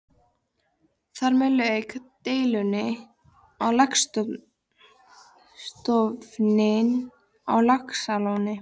Þar með lauk deilunni um laxastofninn á Laxalóni.